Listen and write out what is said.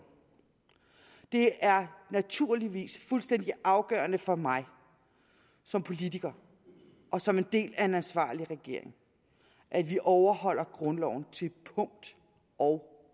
det er naturligvis fuldstændig afgørende for mig som politiker og som en del af en ansvarlig regering at vi overholder grundloven til punkt og